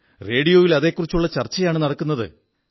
റേഡിയോയിൽ അതെക്കുറിച്ചുള്ള ചർച്ചയാണു നടക്കുന്നത്